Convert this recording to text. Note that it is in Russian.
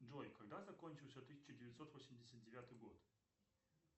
джой когда закончился тысяча девятьсот восемьдесят девятый год